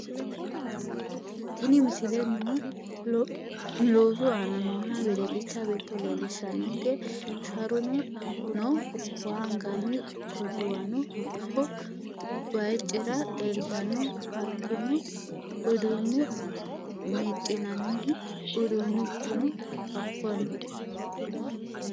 Tiini miisile noo loosu aana nooha weedelcha beeto lelishanonke sharunoo noo, waa anganni. koduwaano haaku bayiicra leeltano haatonouudune meecinanhu uudunchuno haako noo.